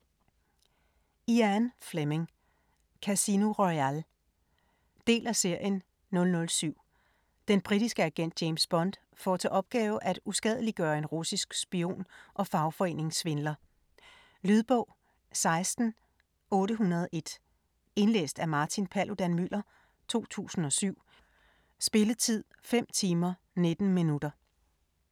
Fleming, Ian: Casino Royale Del af serien 007. Den britiske agent James Bond får til opgave at uskadeliggøre en russisk spion og fagforeningssvindler. Lydbog 16801 Indlæst af Martin Paludan-Müller, 2007. Spilletid: 5 timer, 19 minutter.